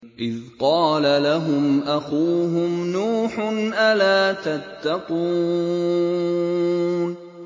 إِذْ قَالَ لَهُمْ أَخُوهُمْ نُوحٌ أَلَا تَتَّقُونَ